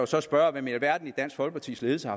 så spørge hvem i alverden i dansk folkepartis ledelse